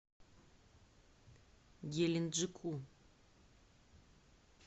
геленджику